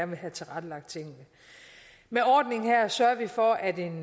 vil have tilrettelagt tingene med ordningen her sørger vi for at en